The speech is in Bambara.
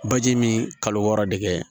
Baji min kalo wɔɔrɔ de kɛ